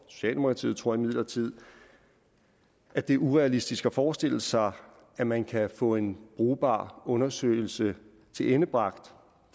socialdemokratiet tror imidlertid at det er urealistisk at forestille sig at man kan få en brugbar undersøgelse tilendebragt